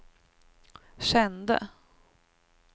kände